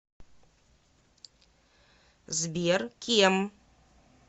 сбер кем